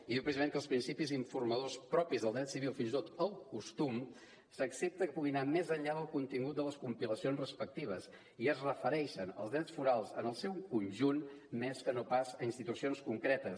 i diu precisament que els principis informadors propis del dret civil fins i tot el costum s’accepta que puguin anar més enllà del contingut de les compilacions respectives i es refereix als drets forals en el seu conjunt més que no pas a institucions concretes